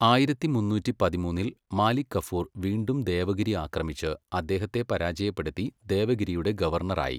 ആയിരത്തി മുന്നൂറ്റി പതിമൂന്നില് മാലിക് കഫൂർ വീണ്ടും ദേവഗിരി ആക്രമിച്ച് അദ്ദേഹത്തെ പരാജയപ്പെടുത്തി ദേവഗിരിയുടെ ഗവർണറായി.